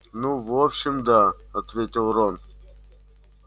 ну в общем да ответил рон